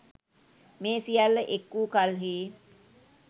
මේ සියල්ල එක් වූ කල්හි